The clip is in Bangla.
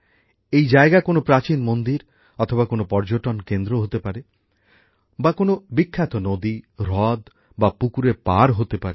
এই জায়গা কোন প্রাচীন মন্দির অথবা কোন পর্যটন কেন্দ্র হতে পারে বা কোন বিখ্যাত নদী হ্রদ বা পুকুরের পার হতে পারে